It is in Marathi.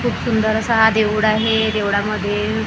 खूप सुंदर असा हा देऊळ आहे देऊडामध्ये --